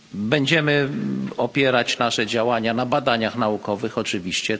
Będziemy opierać nasze działania na badaniach naukowych, oczywiście.